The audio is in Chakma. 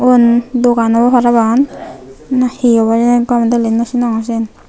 yen dogan obw parapang na hi obw heni gomey dali nw sinongor siyen.